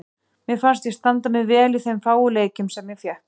Mér fannst ég standa mig vel í þeim fáu leikjum sem ég fékk.